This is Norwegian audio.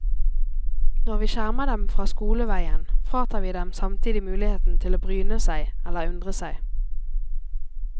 Når vi skjermer dem fra skoleveien, fratar vi dem samtidig muligheten til å bryne seg eller undre seg.